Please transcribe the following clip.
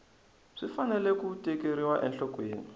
swi fanele ku tekeriwa enhlokweni